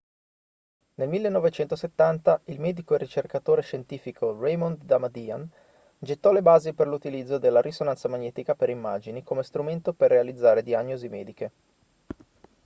nel 1970 il medico e ricercatore scientifico raymond damadian gettò le basi per l'utilizzo della risonanza magnetica per immagini come strumento per realizzare diagnosi mediche